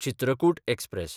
Chitrakoot express